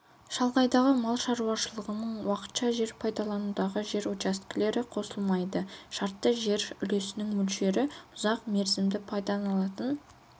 шалғайдағы мал шаруашылығының уақытша жер пайдаланудағы жер учаскелер қосылмайды шартты жер үлесінің мөлшері ұзақ мерзімді пайдаланылатын